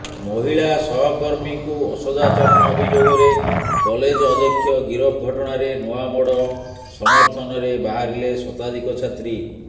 ମହିଳା ସହକର୍ମୀଙ୍କୁ ଅସଦାଚରଣ ଅଭିଯୋଗରେ କଲେଜ ଅଧ୍ୟକ୍ଷ ଗିରଫ ଘଟଣାରେ ନୂଆମୋଡ ସମର୍ଥନରେ ବାହାରିଲେ ଶତାଧିକ ଛାତ୍ରୀ